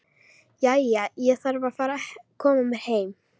Jæja, ég þarf að fara að koma mér heim